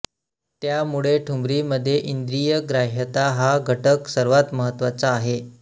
त्यामुळे ठुमरीमध्ये इंद्रियग्राह्यता हा घटक सर्वात महत्त्वाचा आहे